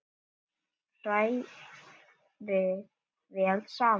Hrærið vel saman.